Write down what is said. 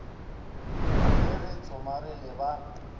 ge re tsomare le ba